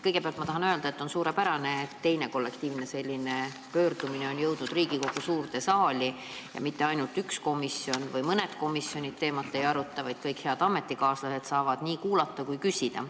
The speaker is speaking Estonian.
Kõigepealt tahan öelda, et on suurepärane, et teine selline kollektiivne pöördumine on jõudnud Riigikogu suurde saali ja teemat ei aruta mitte ainult üks komisjon või mõned komisjonid, vaid kõik head ametikaaslased saavad nii kuulata kui ka küsida.